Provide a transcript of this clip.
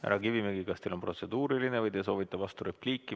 Härra Kivimägi, kas teil on protseduuriline küsimus või te soovite vasturepliiki?